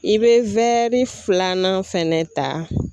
I bɛ filanan fɛnɛ ta.